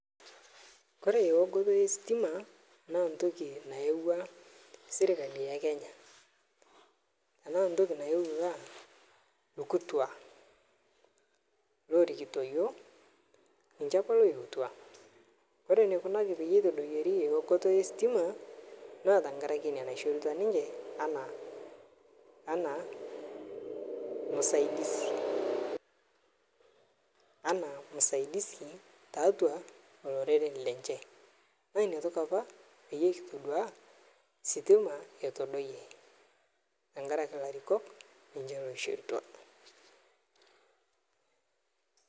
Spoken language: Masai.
Kore eokoto esitima, naa ntoki naewa sirkali e kenya, anaa ntoki nayeutua lkutua lorikito yuo, ninje apa loyeutwa, kore nekunaki peetodoyuori eokoto e sitima naa tangarake nia naishorutwa ninje ana, ana masaidisi, ana masaidisi taatua loreren lenje naa nia toki apa payie kitodua sitima etodoyie, tangaraki larikok ninje oshorutwa.